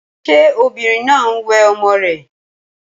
Ṣé obìnrin náà ń wẹ ọmọ rè?